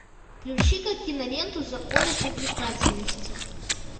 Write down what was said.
включи ка киноленту законы привлекательности